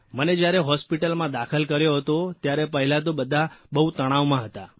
મને જયારે હોસ્પીટલમાં દાખલ કર્યો હતો ત્યારે પહેલાં તો બધા બહુ તણાવમાં હતા